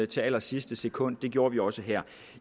til allersidste sekund det gjorde vi også her